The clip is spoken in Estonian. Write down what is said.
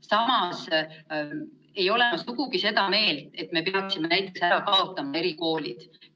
Samas ei ole ma sugugi seda meelt, et me peaksime näiteks ära kaotama erikoolid.